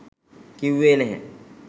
කිව්වේ නැහැ.